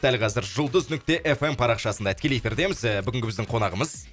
дәл қазір жұлдыз нүкте эф эм парақшасында тікелей эфирдеміз і бүгінгі біздің қонағымыз